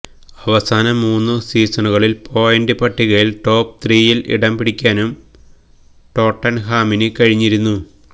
അവസാന മൂന്ന് സീസണുകളില് പോയിന്റ് പട്ടികയില് ടോപ് ത്രീയില് ഇടംപിടിക്കാനും ടോട്ടന്ഹാമിന് കഴിഞ്ഞിരുന്നു